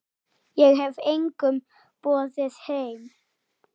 Ég hef engum boðið heim.